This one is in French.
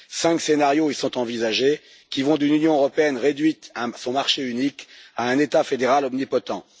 Cinq scénarios y sont envisagés, qui vont d'une Union européenne réduite à son marché unique à un État fédéral omnipotent.